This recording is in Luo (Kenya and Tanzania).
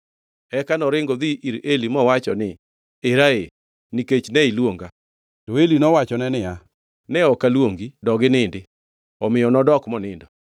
Eka noringo odhi ir Eli mowacho niya, “Era ee; nikech ne iluonga.” To Eli nowachone niya, “Ne ok aluongi dog inindi.” Omiyo nodok monindo.